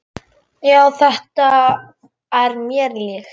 Já, þetta er mér líkt.